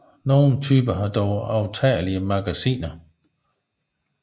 Nogle typer har dog aftagelige magasiner